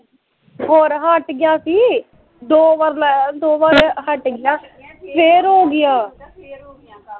ਹੋਰ ਹਟ ਗਈਆ ਸੀ, ਦੋ ਵਾਰ ਲਾਇਆ ਦੋ ਵਾਰ ਹਟ ਗਈਆ, ਫੇਰ ਹੋ ਗਈਆ